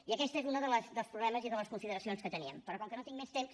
i aquest és un dels problemes i de les consideracions que teníem però com que no tinc més temps